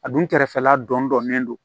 A dun kɛrɛfɛla dɔnnen don